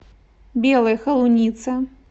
белой холунице